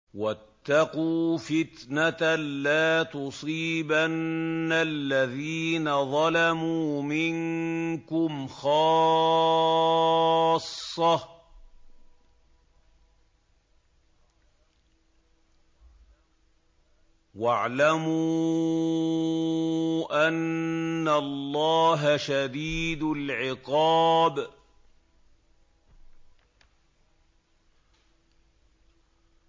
وَاتَّقُوا فِتْنَةً لَّا تُصِيبَنَّ الَّذِينَ ظَلَمُوا مِنكُمْ خَاصَّةً ۖ وَاعْلَمُوا أَنَّ اللَّهَ شَدِيدُ الْعِقَابِ